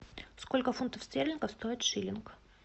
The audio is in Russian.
сколько фунтов стерлингов стоит шиллинг